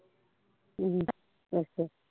ਹਮ ਅੱਛਾ